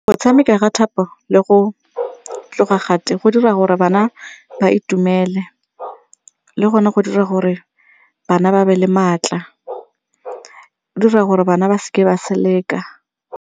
Go tshameka ga le go go dira gore bana ba itumele le gone go dira gore bana ba be le maatla, go dira gore bana ba seke ba seleka.